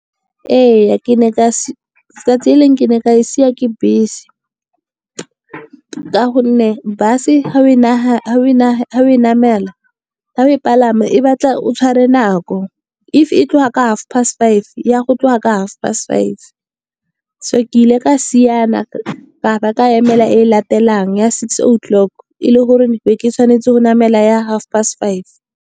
Ee, 'tsatsi le lengwe ne ka siwa ke bese. Ka gonne bus ga oe palama e batla o tshware nako, if e tloga ka half past five ya go tloga ka half past five. So ke ile ka siana ka ba ka emela e latelang ya six o'clock, e le gore ne ke tshwanetse go namela ya half past five.